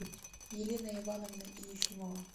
елена ивановна ефимова